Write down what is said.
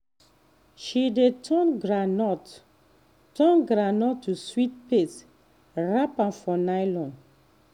she dey turn groundnut turn groundnut to sweet paste wrap am for nylon